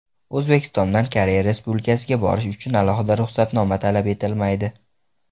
O‘zbekistondan Koreya Respublikasiga borish uchun alohida ruxsatnoma talab etilmaydi.